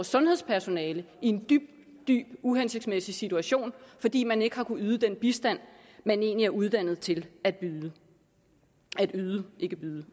sundhedspersonale i en dybt uhensigtsmæssig situation fordi man ikke har kunnet yde den bistand man egentlig er uddannet til at yde yde gebyret